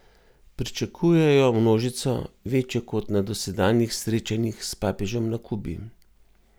Pričakujejo množico, večjo kot na vseh dosedanjih srečanjih s papežem na Kubi.